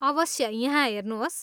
अवश्य! यहाँ हेर्नुहोस्।